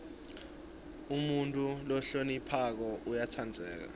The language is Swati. umuntfu lohloniphako uyatsandzeka